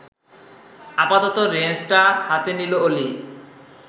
আপাতত রেঞ্চটা হাতে নিল অলি